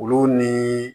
Olu ni